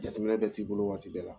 Jateminɛ bɛɛ t'i bolo waati bɛɛ la